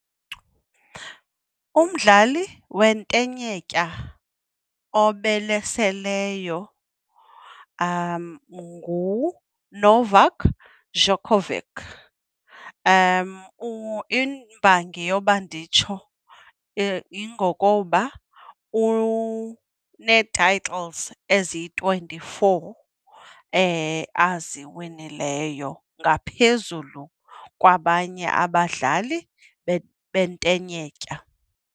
Umdlali wentenetya obalaseleyo nguNovak Djokovic. Imbangi yokuba nditsho yingokuba unee-titles eziyi-twenty-four aziwinileyo ngaphezulu kwabanye abadlali bentenetya.